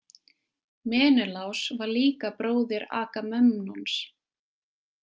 Menelás var líka bróðir Agamemnons.